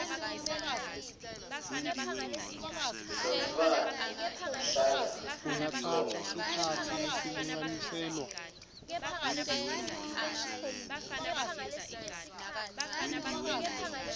lomntfwana ahlala khona